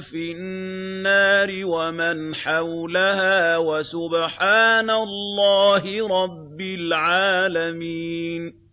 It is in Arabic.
فِي النَّارِ وَمَنْ حَوْلَهَا وَسُبْحَانَ اللَّهِ رَبِّ الْعَالَمِينَ